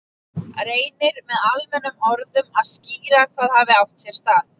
Reynir með almennum orðum að skýra hvað hafi átt sér stað.